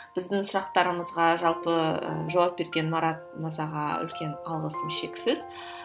біздің сұрақтарымызға жалпы ы жауап берген марат мырзаға үлкен алғысым шексіз